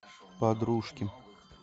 подружки